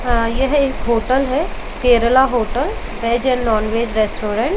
अ यह एक होटल है Kerala hotel veg and non veg restaurant.